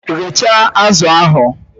Ghechaa azụ ahụ!